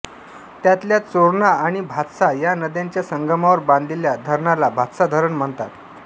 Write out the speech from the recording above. त्यांतल्या चोरणा आणि भातसा या नद्यांच्या संगमावर बांधलेल्या धरणाला भातसा धरण म्हणतात